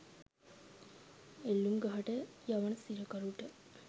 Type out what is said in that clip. එල්ලූම් ගහට යවන සිරකරුට